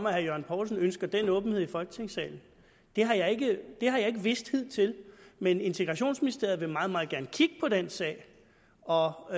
at herre jørgen poulsen ønsker den åbenhed i folketingssalen det har jeg ikke vidst hidtil men integrationsministeriet vil meget meget gerne kigge på den sag og og